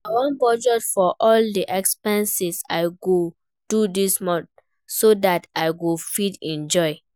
I wan budget for all the expenses I go do dis month so dat I go fit enjoy